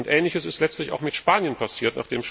Ähnliches ist letztlich auch mit Spanien passiert.